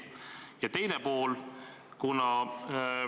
Ja teine pool on ka.